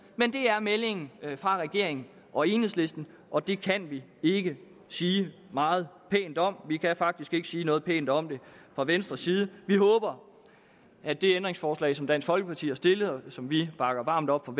men det er meldingen fra regeringen og enhedslisten og det kan vi ikke sige meget pænt om vi kan faktisk ikke sige noget pænt om det fra venstres side vi håber at det ændringsforslag som dansk folkeparti har stillet og som vi bakker varmt op om